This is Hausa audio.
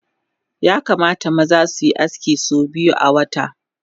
Yakamata maza suyi aski so biyu awata